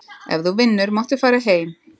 Ef þú vinnur máttu fara heim.